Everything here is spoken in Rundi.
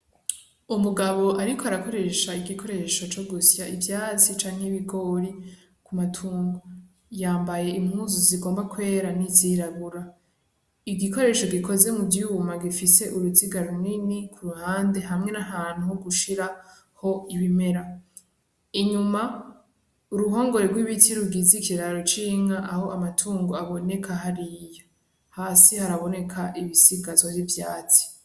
Umugabo ariko arakoresha igikoresho co gusya ivyatsi canke ibigori vy'amatungo, yambaye impuzu zigomba kwera n'izirabura, igikoresho gikoze muvyuma gifise uruziga runini kuruhande hamwe n'ahantu ho gushiraho ibimera, inyuma uruhongore rw'ibiti rugize ikiraro c'inka aho amatungo aboneka hariya, hasi haraboneka ibisigazwa vy'ivyatsi.